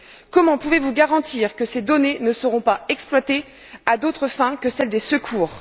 Comment pouvez vous garantir que ces données ne seront pas exploitées à d'autres fins que celles des secours?